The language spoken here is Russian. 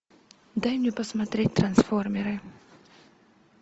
дай мне посмотреть трансформеры